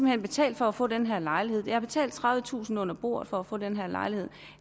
hen betalt for at få den her lejlighed jeg har betalt tredivetusind kroner under bordet for at få den her lejlighed